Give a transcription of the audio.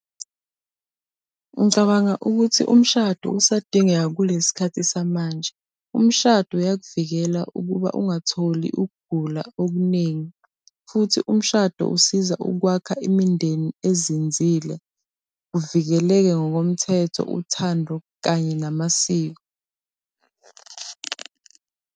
Ngicabanga ukuthi umshado usadingeka kulesi khathi samanje. Umshado uyakuvikela ukuba ungatholi ukugula okuningi. Futhi umshado usiza ukwakha imindeni ezinzile, luvikeleke ngokomthetho uthando kanye namasiko.